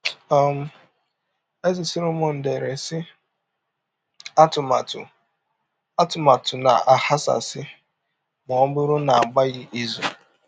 um Eze Sọlọmọn dere, sị: “ Atụmatụ “ Atụmatụ na - aghasasị ma ọ bụrụ na a gbaghị izụ. ”